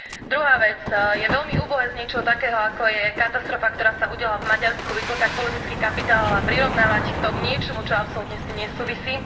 Druhá vec je veľmi úbohé z niečoho takého, ako je katastrofa, ktorá sa udiala v Maďarsku vytĺkať politický kapitál a prirovnávať to k niečomu, čo absolútne s tým nesúvisí.